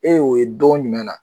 E y'o ye don jumɛn na